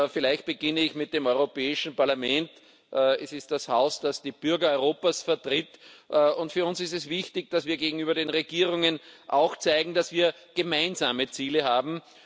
Vielleicht beginne ich mit dem Europäischen Parlament. Das ist das Haus, das die Bürger Europas vertritt, und für uns ist es wichtig, dass wir gegenüber den Regierungen auch zeigen, dass wir gemeinsame Ziele haben.